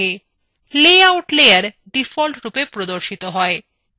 layout layer ডিফল্টরূপে প্রদর্শিত হয়